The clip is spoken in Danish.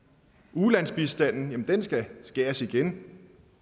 ulandsbistanden skal skæres igen